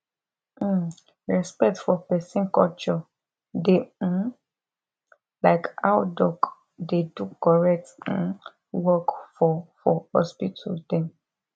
hmmm respect for peson culture dey um like how doc dey do correct um work for for hospital dem